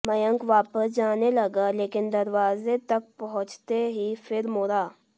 मयंक वापस जाने लगा लेकिन दरवाज़े तक पहुचते ही फिर मुड़ा